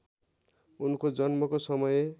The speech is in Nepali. उनको जन्मको समय